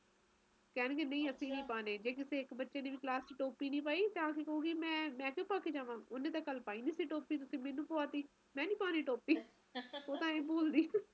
ਤੁਸੀਂ ਦੱਸਿਆ ਹੀ ਕੁਸ਼ ਮੈਨੂੰ ਹੈ ਤਾ ਬਣਾਇਆ ਸੀਗਾ ਅਸੀਂ ਤਾ ਸੋਚਦੇ ਸੀਗੇ ਜਨਵਰੀ ਚ ਮਾੜੀ ਜੀ ਠੰਡ ਘਟਾ ਜਾਏਫਿਰ ਜਨਵਰੀ ਦੇ ਅਖ਼ੀਰਲੇ time ਦਿਨਾਂ ਵਿਚ ਆਪਾ